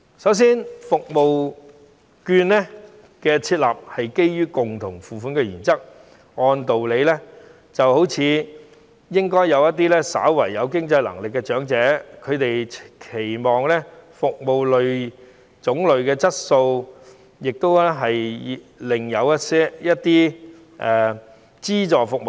首先，社區券的設立是基於共同付款原則，所以使用社區券的長者或稍有經濟能力，他們會期望服務有較好質素，以及有另一些種類的資助服務。